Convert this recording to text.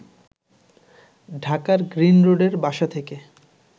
ঢাকার গ্রিন রোডের বাসা থেকে